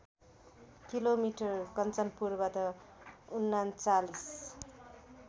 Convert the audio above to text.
kilometre कन्चनपुरबाट ३९